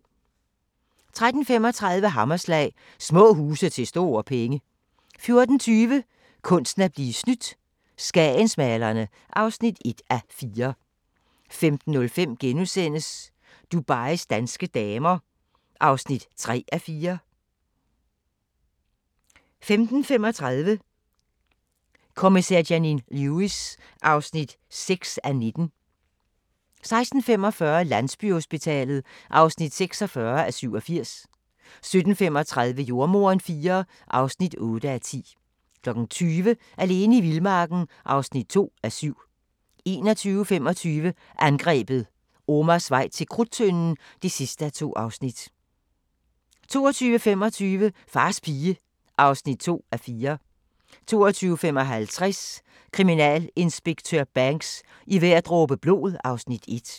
13:35: Hammerslag – Små huse til store penge 14:20: Kunsten at blive snydt - Skagensmalerne (1:4) 15:05: Dubais danske damer (3:4)* 15:35: Kommissær Janine Lewis (6:19) 16:45: Landsbyhospitalet (46:87) 17:35: Jordemoderen IV (8:10) 20:00: Alene i vildmarken (2:7) 21:25: Angrebet – Omars vej til Krudttønden (2:2) 22:25: Fars pige (2:4) 22:55: Kriminalinspektør Banks: I hver dråbe blod (Afs. 1)